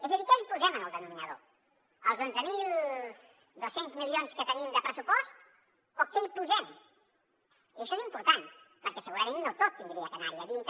és a dir què li posem al denominador els onze mil dos cents milions que tenim de pressupost o què hi posem i això és important perquè segurament no tot hauria d’anar hi a dintre